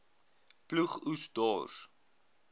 ploeg oes dors